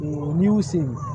N'i y'u sen